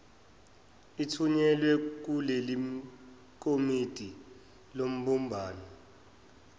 ithunyelwa kulelikomiti lobumbano